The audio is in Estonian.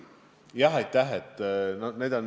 Jah, aitäh!